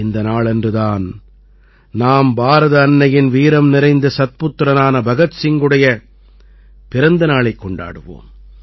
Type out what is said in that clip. இந்த நாளன்று தான் நாம் பாரத அன்னையின் வீரம்நிறைந்த சத்புத்திரனான பகத் சிங்குடைய பிறந்த நாளைக் கொண்டாடுவோம்